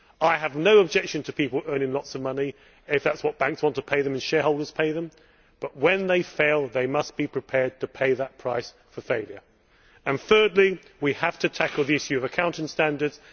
I have no objection to people earning lots of money if that is what banks want to pay them and shareholders pay them, but when they fail they must be prepared to pay the price of failure. Thirdly, we have to tackle the issue of accounting standards.